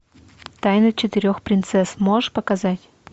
тайна четырех принцесс можешь показать